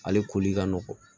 Ale koli ka nɔgɔn